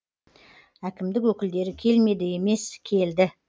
әкімдік өкілдері келмеді емес келді